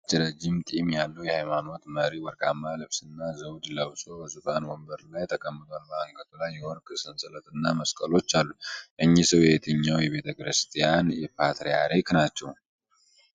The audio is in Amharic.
ረጅም ነጭ ጢም ያለው የሃይማኖት መሪ ወርቃማ ልብስና ዘውድ ለብሶ በዙፋን ወንበር ላይ ተቀምጧል። በአንገቱ ላይ የወርቅ ሰንሰለትና መስቀሎች አሉ። እኚህ ሰው የየትኛው ቤተ ክርስቲያን ፓትርያርክ ናቸው?